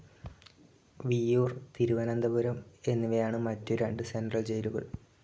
വിയ്യൂർ, തിരുവനന്തപുരം എന്നിവയാണ് മറ്റു രണ്ട് സെൻട്രൽ ജയിലുകൾ.